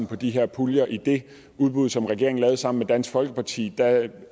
på de her puljer i det udbud som regeringen lavede sammen med dansk folkeparti